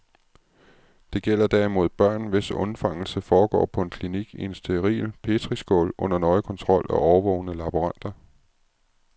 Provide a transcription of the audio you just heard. Det gælder derimod børn, hvis undfangelse foregår på en klinik i en steril petriskål under nøje kontrol af årvågne laboranter.